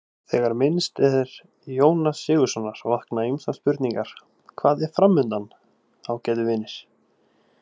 MATTHÍAS: Þegar minnst er Jóns Sigurðssonar vakna ýmsar spurningar: Hvað er framundan, ágætu vinir?